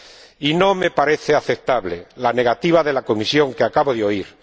Y no me parece aceptable la negativa de la Comisión que acabo de oír.